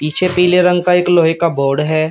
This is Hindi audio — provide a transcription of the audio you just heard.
पीछे पीले रंग का एक लोहे का बोर्ड है।